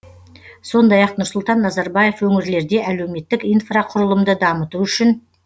сондай ақ нұрсұлтан назарбаев өңірлерде әлеуметтік инфрақұрылымды дамыту үшін